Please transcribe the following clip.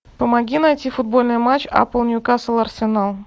помоги найти футбольный матч апл ньюкасл арсенал